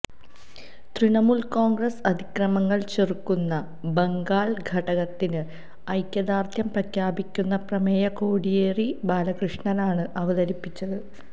തൃണമൂല് കോണ്ഗ്രസ്സ് അതിക്രമങ്ങള് ചെറുക്കുന്ന ബംഗാള് ഘടകത്തിന് ഐക്യദാര്ഡ്യം പ്രഖ്യാപിക്കുന്ന പ്രമേയം കോടിയേരി ബാലകൃഷ്ണനാണ് അവതരിപ്പിച്ചത്